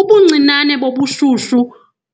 Ubuncinane bobushushu